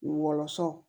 Wɔlɔsɔ